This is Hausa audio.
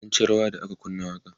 mun ci rawa da aka kunna waƙan